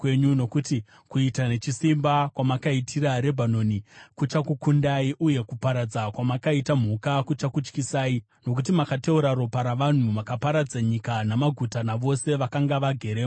Nokuti kuita nechisimba kwamakaitira Rebhanoni kuchakukundai, uye kuparadza kwamakaita mhuka kuchakutyisai. Nokuti makateura ropa ravanhu; makaparadza nyika namaguta navose vakanga vageremo!